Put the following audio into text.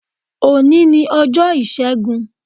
Òní ni ọjọ́ Ìṣẹ́gun.